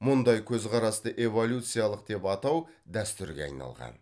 мұндай көзқарасты эволюциялық деп атау дәстүрге айналған